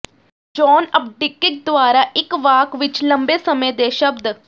John Updike ਦੁਆਰਾ ਇੱਕ ਵਾਕ ਵਿੱਚ ਲੰਬੇ ਸਮੇਂ ਦੇ ਸ਼ਬਦ